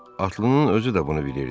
Atlıının özü də bunu bilirdi.